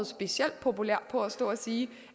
specielt populær på på at stå og sige